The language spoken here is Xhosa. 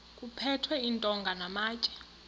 kuphethwe iintonga namatye